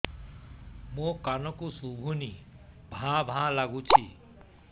ମୋ କାନକୁ ଶୁଭୁନି ଭା ଭା ଲାଗୁଚି